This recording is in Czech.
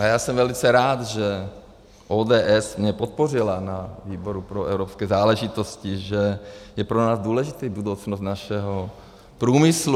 A já jsem velice rád, že ODS mě podpořila na výboru pro evropské záležitosti, že je pro nás důležitá budoucnost našeho průmyslu.